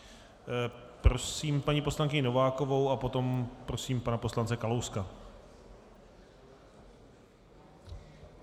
Prosím paní poslankyni Novákovou a potom prosím pana poslance Kalouska.